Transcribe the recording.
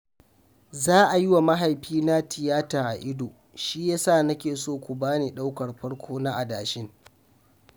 Za a yi wa mahaifina tiyata a ido, shi ya sa nake so ku ba ni ɗaukar farko na adashin